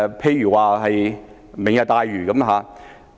第一，"明日大嶼"。